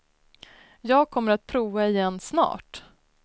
Jag kommer att prova igen snart.